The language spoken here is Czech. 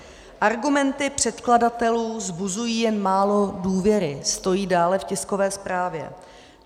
Argumenty předkladatelů vzbuzují jen málo důvěry," stojí dále v tiskové zprávě.